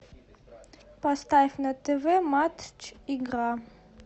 поставь на тв матч игра